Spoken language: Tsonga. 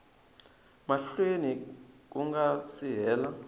mahlweni ku nga si hela